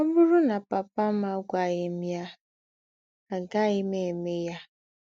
Ọ̀ bụrụ̀ nà pàpà m àgwàghị m yà, àgàghị m émè yà.